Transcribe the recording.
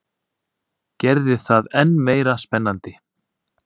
Gerði það enn meira spennandi.